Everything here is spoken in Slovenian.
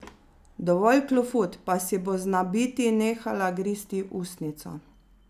Dovolj klofut, pa si bo znabiti nehala gristi ustnico.